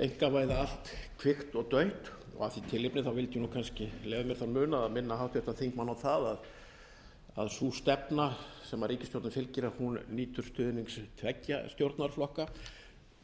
einkavæða allt kvikt og dautt og af því tilefni vildi ég kannski leyfa mér þann munað að minna háttvirtan þingmann á að sú stefna sem ríkisstjórnin fylgir nýtur stuðnings tveggja stjórnarflokka